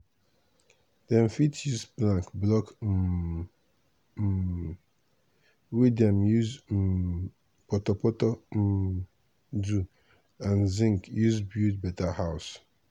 dem fit use plank block um um wey dem use um portorportor um do and zinc use build better house.